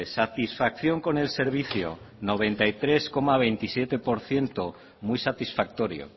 satisfacción con el servicio noventa y tres coma veintisiete por ciento muy satisfactorio